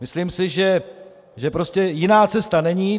Myslím si, že prostě jiná cesta není.